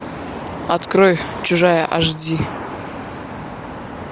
открой чужая аш ди